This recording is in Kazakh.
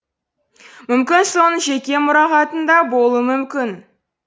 мүмкін соның жеке мұрағатында болуы мүмкін